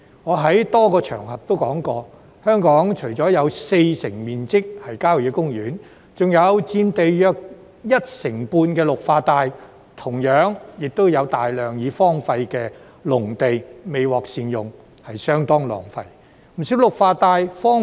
我在多個場合均有提及，香港除了有四成面積是郊野公園外，還有佔地約一成半的綠化帶，亦有大量已荒廢的農地未獲善用，相當浪費。